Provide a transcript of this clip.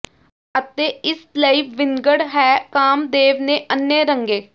ਅਤੇ ਇਸ ਲਈ ਵਿੰਗਡ ਹੈ ਕਾਮਦੇਵ ਨੇ ਅੰਨ੍ਹੇ ਰੰਗੇ